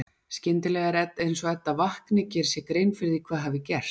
Skyndilega er eins og Edda vakni, geri sér grein fyrir því hvað hafi gerst.